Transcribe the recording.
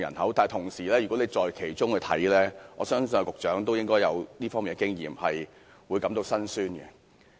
可是，如果處身其中，難免感到心酸，我相信局長也有這方面的經驗。